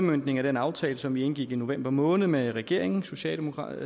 udmøntning af den aftale som vi indgik i november måned med regeringen socialdemokratiet